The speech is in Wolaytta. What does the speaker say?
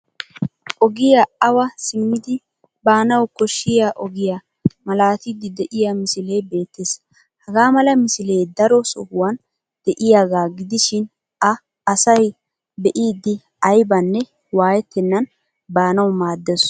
Ogiya awa simmidi baanawu koshshiyaa ogiya malaattiddi de'iyaa misilee beettes. Hagaa mala misilee daro sohuwan de'iyaagaa gidishin a asay be'idi aybanne waayettennan baanawu maaddes.